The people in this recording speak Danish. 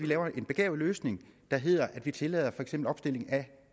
laver en begavet løsning der hedder at man tillader for eksempel opstilling af